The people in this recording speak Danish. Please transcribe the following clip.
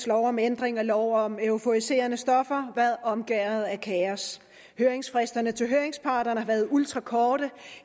lov om ændring af lov om euforiserende stoffer været omgærdet af kaos høringsfristerne til høringsparterne har været ultrakorte